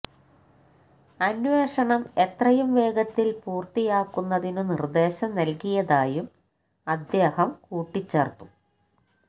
അന്വേഷണം എത്രയും വേഗത്തില് പൂര്ത്തിയാക്കുന്നതിനു നിര്ദ്ദേശം നല്കിയതായും അദ്ദേഹം കൂട്ടിച്ചേര്ത്തു